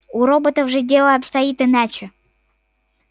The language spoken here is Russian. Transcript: у роботов же дело обстоит иначе